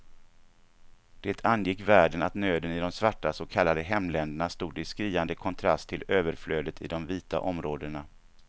Det angick världen att nöden i de svarta så kallade hemländerna stod i skriande kontrast till överflödet i de vita områdena.